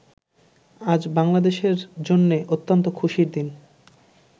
আজ বাংলাদেশের জন্যে অত্যন্ত খুশির দিন।